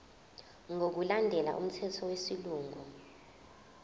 ngokulandela umthetho wesilungu